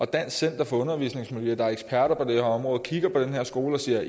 dansk center for undervisningsmiljø der er eksperter på det her område kigger på den her skole og siger